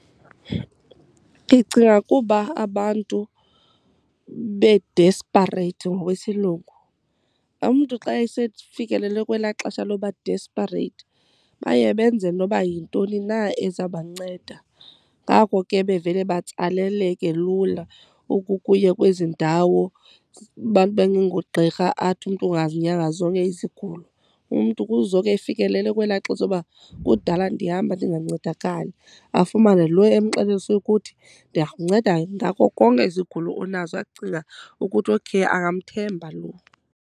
Ndicinga kuba abantu be-desperate ngokwesilungu, umntu xa esefikelele kwelaa xesha loba-desperate baye benze noba yintoni na eza banceda. Ngako ke bevele batsaleleke lula ukukuya kwezi ndawo abantu bengengogqirha, athi umntu ungazinyanga zonke izigulo. Umntu kuzoke efikelele kwelaa xesha loba kudala ndihamba ndingancedakali. Afumane lo emxelele esokuthi ndingakunceda ngako konke izigulo onazo, acinga ukuthi okay angamthemba lo.